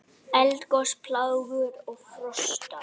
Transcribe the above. Eldgos, plágur og frosta